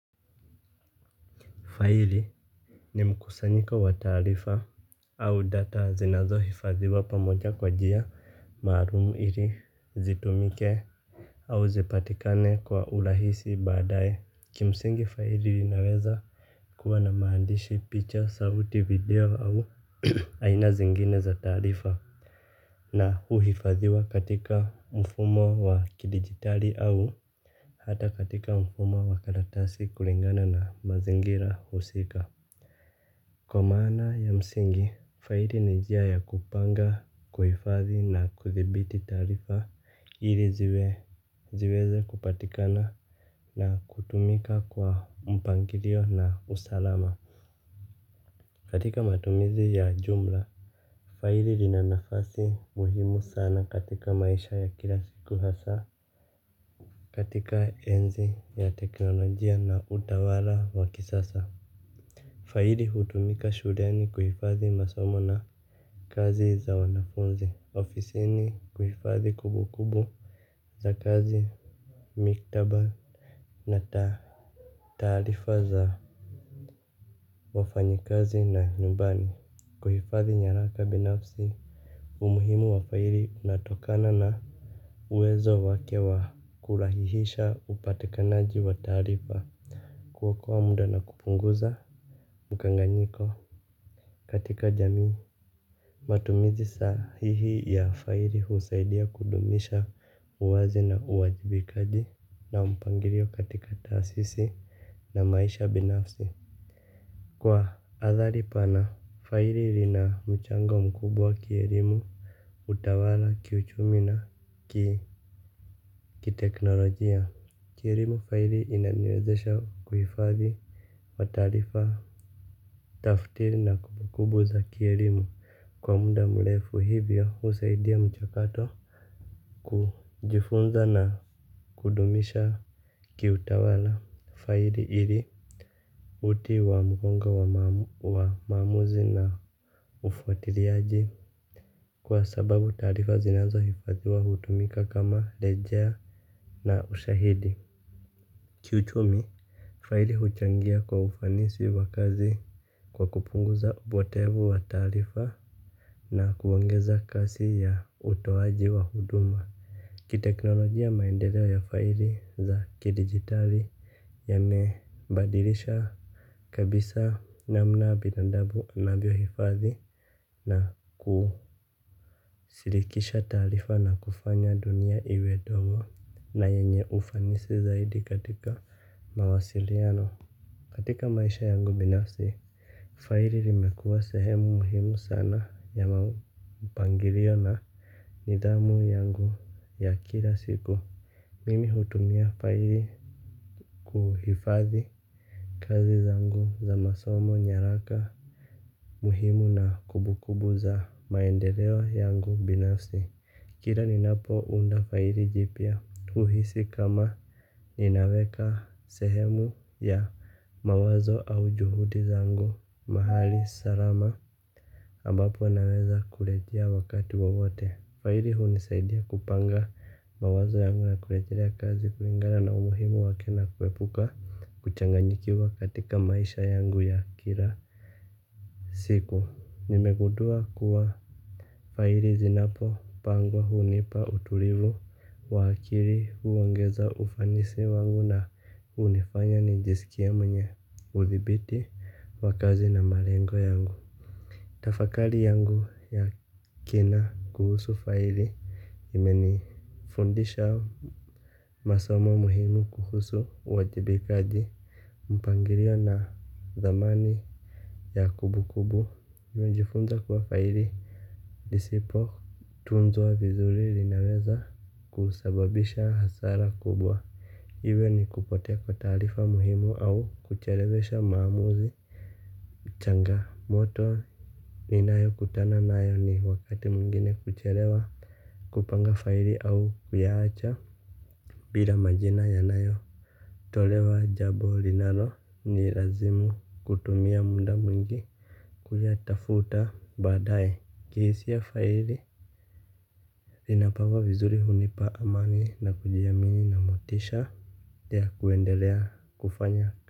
Faili ni mkusanyiko wa taarifa au data zinazohifadhiwa pamoja kwa njia maalumu ili zitumike au zipatikane kwa urahisi baadae. Kimsingi faili linaweza kuwa na maandishi, pichs, sauti, video au aina zingine za taarifa. Na huhifadhiwa katika mfumo wa kidigitali au hata katika mfumo wa karatasi kulingana na mazingira husika. Kwa maana ya msingi, faili ni njia ya kupanga, kuhifadhi na kudhibiti taarifa ili ziweze kupatikana na kutumika kwa mpangilio na usalama. Katika matumizi ya jumla faili lina nafasi muhimu sana katika maisha ya kila siku hasa katika enzi ya teknolojia na utawala wa kisasa. Faili hutumika shuleni kuhifadhi masomo na kazi za wanafunzi. Ofisini kuhifadhi kumbukumbu za kazi, mikataba na taarifa za wafanyikazi na nyumbani. Kuhifadhi nyaraka binafsi. Umuhimu wa faili unatokana na uwezo wake wa kurahisisha upatikanaji wa taarifa. Kuokoa muda na kupunguza mkanganyiko katika jamii. Matumizi sahihi ya faili husaidia kudumisha uwazi na uwajibikaji na mpangilio katika taasisi na maisha binafsi. Kwa athari pana, faili lina mchango mkubwa kielimu, utawala, kiuchumi na kiteknolojia. Kielimu, faili inaniwezesha uhifadhi wa taarifa taftiri na kumbukumbu za kielimu kwa muda mrefu, hivyo husaidia mchakato kujifunza na kudumisha kiutawala fail ili uti wa mgongo wa mamuzi na ufuatiliaji. Kwa sababu taarifa zinazohifadhiwa hutumika kama rejea na ushahidi. Kiuchumi, fail huchangia kwa ufanisi wa kazi kwa kupunguza upotevu wa taarifa na kuongeza kasi ya utoaji wa huduma. Kiteknolojia, maendeleo ya faili za kidigitali yame badilisha kabisa namna binadamu anavyohifadhi na kushirikisha taarifa na kufanya dunia iwe ndogo na yenye ufanisi zaidi katika mawasiliano. Katika maisha yangu binafsi, faili limekua sehemu muhimu sana ya mapangilio na nidhamu yangu ya kila siku. Mimi hutumia faili kuhifadhi kazi zangu za masomo nyaraka muhimu na kumbukumbu za maendeleo yangu binafsi. Kila ninapounda faili jipya, huhisi kama inaweka sehemu ya mawazo au juhudi zangu mahali salama ambapo naweza kurejea wakati wowote. Faili hunisaidia kupanga mawazo yangu na kurejelea kazi kulingana na umuhimu wake na kuepuka kuchanganyikiwa katika maisha yangu ya kila siku. Nimegudua kuwa faili zinapopangwa hunipa utulivu wa kili, huongeza ufanisi wangu na hunifanya nijisikie mwenye udhibiti wa kazi na malengo yangu. Tafakari yangu ya kina kuhusu faili imenifundisha masomo muhimu kuhusu uwajibikaji, mpangilio na dhamani ya kumbukumbu. Nimejifunza kuwa faili lisipo tunzwa vizuri linaweza kusababisha hasara kubwa iwe ni kupotea kwa taarifa muhimu au kuchelewesha maamuzi. Changamoto ninayokutana nayo ni wakati mwingine kuchelewa kupanga faili au kuyaacha bila majina yanayotolewa, jambo linalo nilazimu kutumia muda mwingi kuyatafuta baadae. Kihisia, faili linapangwa vizuri hunipa amani na kujiamini na motisha ya kuendelea kufanya.